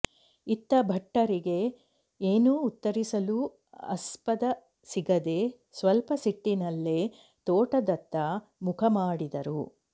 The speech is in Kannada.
ಇತ್ತ ಭಟ್ಟರಿಗೆ ಏನೂ ಉತ್ತರಿಸಲೂ ಆಸ್ಪದ ಸಿಗದೇ ಸ್ವಲ್ಪ ಸಿಟ್ಟಿನಲ್ಲೇ ತೋಟದತ್ತ ಮುಖ ಮಾಡಿದರು